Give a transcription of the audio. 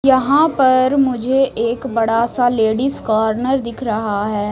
यहां पर मुझे एक बड़ा सा लेडिस कॉर्नर दिख रहा है।